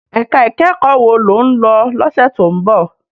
Èká ikèékò wó ló n lò lòsè tó n bò?